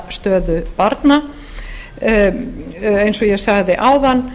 réttindastöðu barna eins og ég sagði áðan